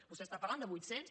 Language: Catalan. vostè està parlant de vuit cents